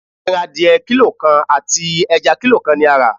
Ẹran adìẹ kílò kan àti ẹja kílò kan ni a rà.